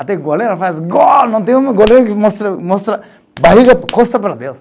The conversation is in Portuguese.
Até goleiro faz gol, não tem um goleiro que mostra mostra barriga, costa para Deus.